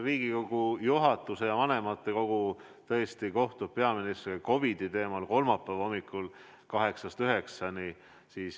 Riigikogu juhatus ja vanematekogu tõesti kohtub peaministriga COVID-i teemal kolmapäeva hommikul kella kaheksast üheksani.